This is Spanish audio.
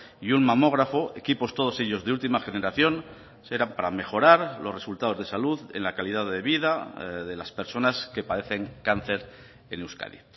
y un mamógrafo equipos todos ellos de última generación serán para mejorar los resultados de salud en la calidad de vida de las personas que padecen cáncer en euskadi